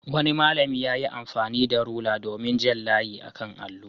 Wani malami ya yi amfani da rula domin jan layi a kan allo.